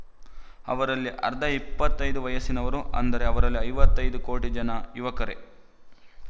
ಅವರಲ್ಲಿ ಅರ್ಧ ಇಪ್ಪತ್ತ್ ಐದು ವಯಸ್ಸಿನವರು ಅಂದರೆ ಅವರಲ್ಲಿ ಐವತ್ತ್ ಐದು ಕೋಟಿ ಜನ ಯುವಕರೇ